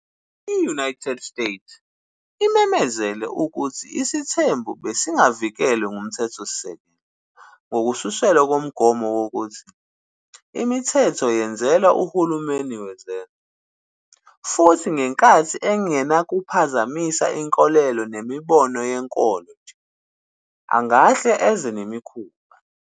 "I-United States" imemezele ukuthi isithembu besingavikelwe nguMthethosisekelo, ngokususelwa kumgomo omude wokuthi "imithetho yenzelwa uhulumeni wezenzo, futhi ngenkathi engenakuphazamisa inkolelo nemibono yenkolo nje, angahle enze nemikhuba."